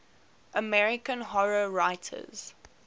american horror writers